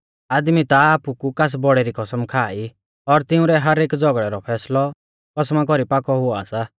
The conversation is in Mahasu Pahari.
आदमी ता आपु कु कास बौड़ै री कसम खा ई और तिंउरै हर एक झ़ौगड़ै रौ फैसलौ कसमा कु पाकौ हुआ सा